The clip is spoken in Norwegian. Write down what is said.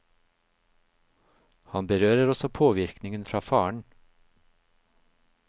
Han berører også påvirkningen fra faren.